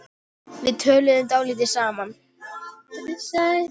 Við töluðum dálítið saman.